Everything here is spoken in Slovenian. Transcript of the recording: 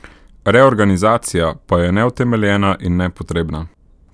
Reorganizacija pa je neutemeljena in nepotrebna.